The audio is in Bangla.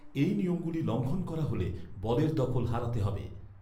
এই নিয়মগুলি লঙ্ঘন করা হলে বলের দখল হারাতে হবে।